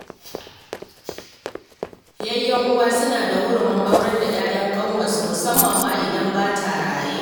Yayyen uwa suna da hurumin aurar da 'ya'yan ƙanwarsu, musamman idan ba ta raye